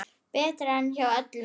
Betra en hjá öllum hinum.